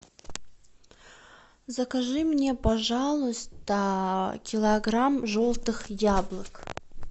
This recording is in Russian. закажи мне пожалуйста килограмм желтых яблок